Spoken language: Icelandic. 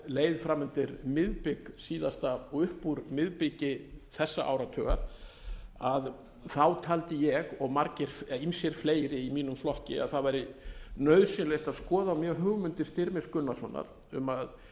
leið fram undir miðbik síðasta og upp úr miðbiki þessa áratugar taldi ég og ýmsir fleiri í mínum flokki að það væri nauðsynlegt að skoða mjög hugmyndir styrmis gunnarssonar um að